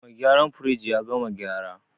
Mai gyaran firij ya gama gyara.